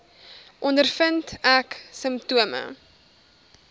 ondervind ek simptome